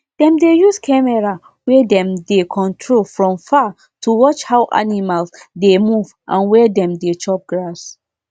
dem dey use camera wey dem dey control from far to watch how animal dey move and where dem dey chop grass